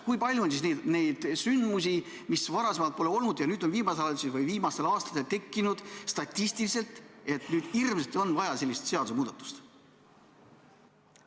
Kui palju on neid juhtumeid, mida varem pole olnud ja mis viimasel ajal või viimastel aastatel on tekkinud, et nüüd hirmsasti on vaja sellist seadusemuudatust?